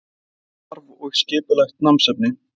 Skólastarf og skipulegt námsefni